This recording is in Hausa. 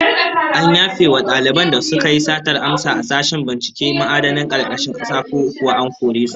An yafe wa daliban da suka yi satar amsa a sashen binciken ma'adinan karkashin kasa, ko kuwa an kore su?